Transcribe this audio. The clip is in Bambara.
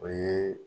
O ye